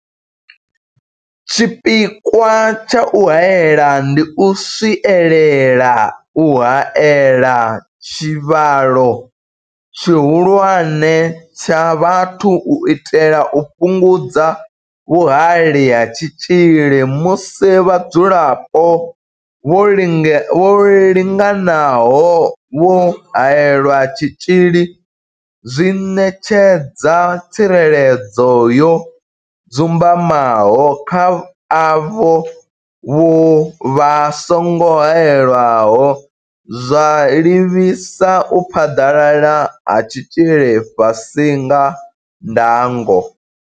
Tshipikwa tsha u haela ndi u swielela u haela tshivhalo tshihulwane tsha vhathu u itela u fhungudza vhuhali ha tshitzhili, musi vhadzulapo vho linganaho vho haelelwa tshitzhili zwi ṋetshedza tsireledzo yo dzumbamaho kha avho vha songo haelwaho, zwa livhisa u phaḓalala ha tshitzhili fhasi ha ndango.